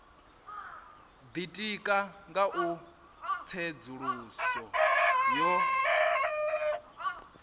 ditika nga u tsedzuluso yo